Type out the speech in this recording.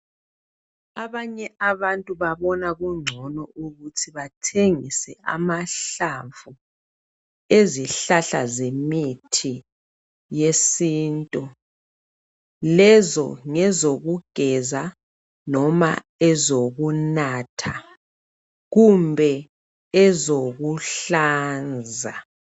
Abanye abantu babona kungcono ukuthi bathengise amahlamvu ezihlahla zemithi yesintu lezo ngezokugeza noma ezokunatha kumbe ezokuhlanza.